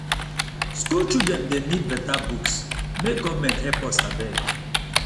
school children dem need better books make government help us abeg